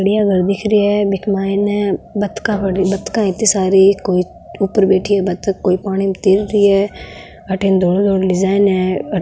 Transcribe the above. इक माइने बदका बतखा है इति सारी कोई ऊपर बैठी है बतख कोई पानी में तैर रही है अठिन धोलो धोलो डिजाइन है।